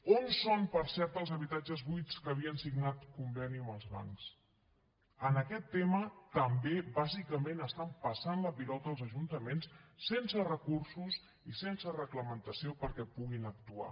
on són per cert els habitatges buits que havien signat conveni amb els bancs en aquest tema també bàsicament estan passant la pilota als ajuntaments sense recursos i sense reglamentació perquè puguin actuar